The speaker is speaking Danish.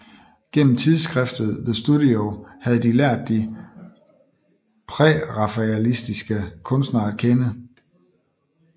Gennem tidsskriftet The Studio havde de lært de prærafaelititiske kunstnere at kende